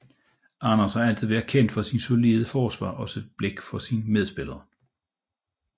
Anders har altid været kendt for sit solide forsvar og sit blik for sine medspillere